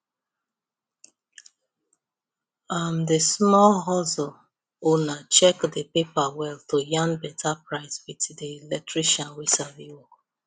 um the small hustle owner check the paper well to yarn better price with the electrician wey sabi work